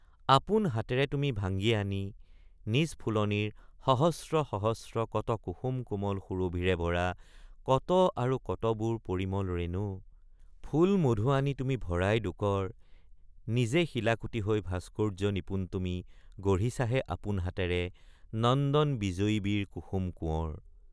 আপোন হাতেৰে তুমি ভাঙ্গি আনি নিজ ফুলনীৰ সহস্ৰ সহস্ৰ কত কুসুম কোমল সুৰভিৰে ভৰা .কত আৰু কতবোৰ পৰিমল ৰেণু ফুল মধু আনি তুমি ভৰাই দুকৰ নিজে শিলাকুটি হৈ ভাস্কৰ্য নিপুণ তুমি গঢ়িছাহে আপোন হাতেৰে নন্দন বিজয়ীবীৰ কুসুম কোঁৱৰ।